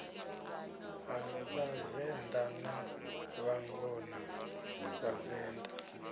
ha vhavenḓa na vhangona vhavenḓa